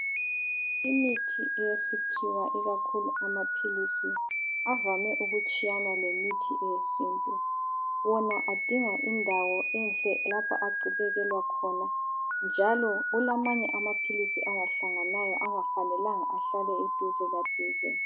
Imithi yesikhiwa ikakhulu amaphilisi avame ukutshiyana lemithi yesintu. Wona adinga indawo enhle lapha abekelwa khona njalo kulamanye amaphilisi angahlanganayo angafanelanga ahlale eduze la duze.